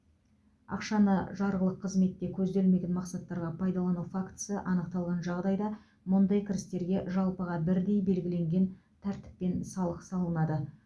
ақшаны жарғылық қызметте көзделмеген мақсаттарға пайдалану фактісі анықталған жағдайда мұндай кірістерге жалпыға бірдей белгіленген тәртіппен салық салынады